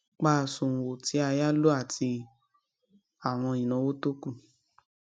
pa àsùnwòn tí a yá lò àti àwọn ináwó tó ku